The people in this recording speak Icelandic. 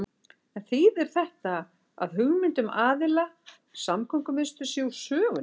En þýðir þetta að hugmynd um alhliða samgöngumiðstöð sé úr sögunni?